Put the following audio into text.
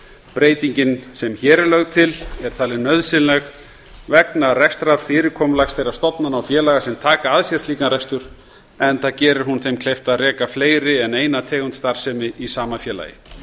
breytingin sem hér er lögð til er talin nauðsynleg vegna rekstrarfyrirkomulags þeirra stofnana og félaga sem taka að sér slíkan rekstur enda gerir hún þeim kleift að reka fleiri en eina tegund starfsemi í sama félagi